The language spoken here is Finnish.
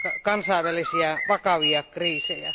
kansainvälisiä vakavia kriisejä?